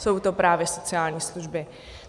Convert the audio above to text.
Jsou to právě sociální služby.